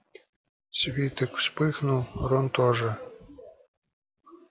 свиток вспыхнул рон тоже